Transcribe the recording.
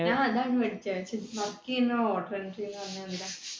ഞാൻ അതായിരുന്നു പഠിച്ചത്. പക്ഷെ work ചെയ്യുന്ന order